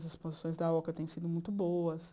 As exposições da Oca têm sido muito boas.